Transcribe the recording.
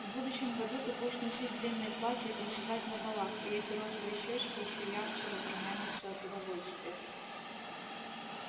в будущем году ты будешь носить длинные платья и танцевать на балах и эти розовые щёчки ещё ярче разрумянятся от удовольствия